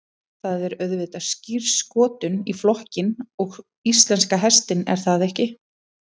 Það er auðvitað skírskotun í flokkinn og íslenska hestinn er það ekki?